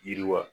Yiriwa